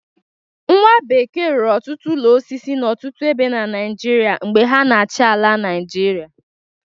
Nwa bekee rụrụ ọtụtụ ụlọ osisi n'ọtụtụ ebe na Naijiria mgbe ha na-achị ala Naijiria.